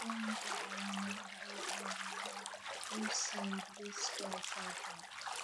Waa maxay calaamadaha iyo calaamadaha Lucey Driscoll syndrome?